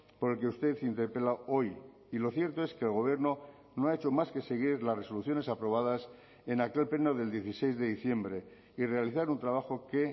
por el que usted interpela hoy y lo cierto es que el gobierno no ha hecho más que seguir las resoluciones aprobadas en aquel pleno del dieciséis de diciembre y realizar un trabajo que